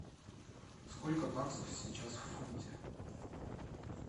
сколько баксов сейчас в фунте